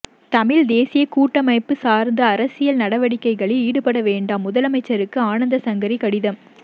தமிழ்த்தேசியக் கூட்டமைப்புச் சார்ந்து அரசியல் நடவடிக்கைகளில் ஈடுபடவேண்டாம் முதலமைச்சருக்கு ஆனந்தசங்கரி கடிதம்